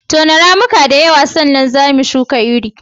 Tona ramuka da yawa sannan za mu shuka iri.